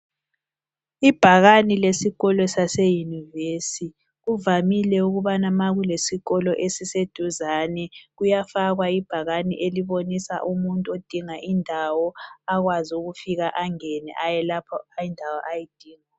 Ibhakane lesikolo saseyunivesithi, kuvamile ukubana ma kulesikolo esiseduzane kuyafakwa ibhakane elibonisa umuntu odinga indawo akwazi ukufika angene aye lapho okulendawo ayidingayo.